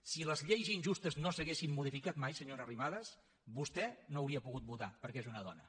si les lleis injustes no s’haguessin modificat mai senyora arrimadas vostè no hauria pogut votar perquè és una dona